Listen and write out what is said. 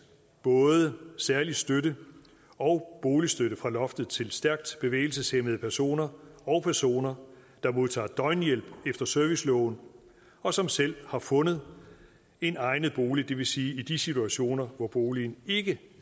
både særlig støtte og boligstøtte fra loftet til stærkt bevægelseshæmmede personer og personer der modtager døgnhjælp efter serviceloven og som selv har fundet en egnet bolig det vil sige i de situationer hvor boligen ikke